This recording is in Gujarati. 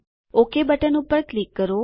ઓક બટન પર ક્લિક કરો